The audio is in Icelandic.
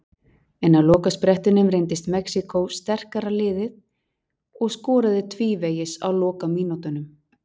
En á lokasprettinum reyndist Mexíkó sterkara liðið og skoraði tvívegis á lokamínútunum.